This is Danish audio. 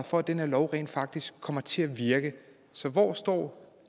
for at den her lov rent faktisk kommer til at virke så hvor står